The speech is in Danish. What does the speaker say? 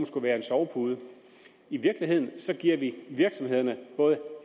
skulle være en sovepude i virkeligheden giver vi virksomhederne både